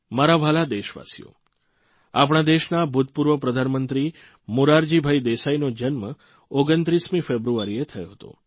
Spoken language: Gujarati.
મારા વ્હાલા દેશવાસીઓ આપણા દેશના ભૂતપૂર્વ પ્રધાનમંત્રી મોરારજીભાઇ દેસાઇનો જન્મ 29મી ફેબ્રુઆરીએ થયો હતો